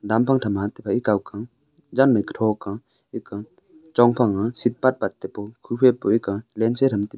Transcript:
han pat thama tham phai kow pu jan mai ketho ka eka chong phai seat pat pat pu kuphai aram taika taipu.